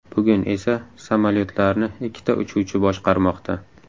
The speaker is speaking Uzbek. Bugun esa samolayotlarni ikkita uchuvchi boshqarmoqda.